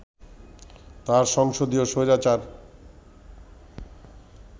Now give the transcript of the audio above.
তার সংসদীয় স্বৈরাচার